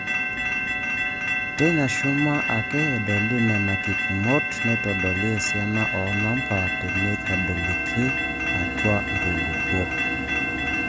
Teina shuma ake edoli Nena kipimot neitodolu esiana oonamba teneitadoikini atwa nkulupuok.